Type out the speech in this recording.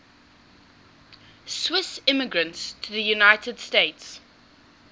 swiss immigrants to the united states